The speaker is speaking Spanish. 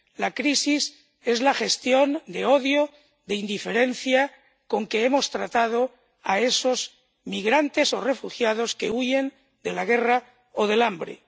La crisis es la gestión del odio, de la indiferencia con que hemos tratado a esos migrantes o refugiados que huyen de la guerra o del hambre.